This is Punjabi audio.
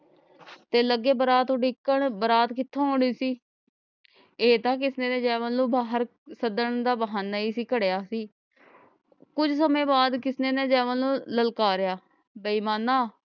ਤੇ ਲਗੇ ਬਰਾਤ ਉਡੀਕਣ ਬਰਾਤ ਕਿਥੋਂ ਆਉਣੀ ਸੀ ਇਹ ਤਾਂ ਕਿਸਨੇ ਨੇ ਜੈਮਲ ਨੂੰ ਬਾਹਰ ਸਦਨ ਦਾ ਬਹਾਨਾ ਹੀ ਸੀ ਕਢਿਆ ਸੀ ਕੁਛ ਸਮੇਂ ਬਾਅਦ ਕਿਸਨੇ ਨੇ ਜੈਮਲ ਨੂੰ ਲਲਕਾਰਿਆ ਬੇਇਮਾਣਾ